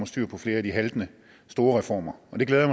styr på flere af de haltende store reformer og det glæder